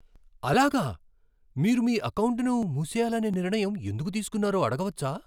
అలాగా. మీరు మీ ఎకౌంటును మూసేయాలనే నిర్ణయం ఎందుకు తీసుకున్నారో అడగవచ్చా